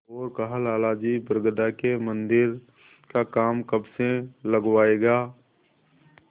और कहालाला जी बरगदा के मन्दिर का काम कब से लगवाइएगा